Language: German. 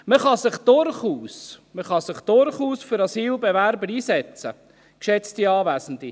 Man kann sich durchaus für Asylbewerber einsetzen, geschätzte Anwesende.